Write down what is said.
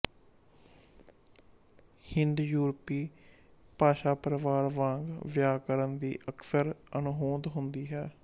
ਹਿੰਦਯੂਰਪੀ ਭਾਸ਼ਾਪਰਵਾਰ ਵਾਂਗ ਵਿਆਕਰਨ ਦੀ ਅਕਸਰ ਅਣਹੋਂਦ ਹੁੰਦੀ ਹੈ